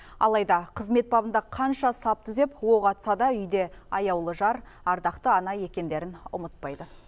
алайда қызмет бабында қанша сап түзеп оқ атса да үйде аяулы жар ардақты ана екендерін ұмытпайды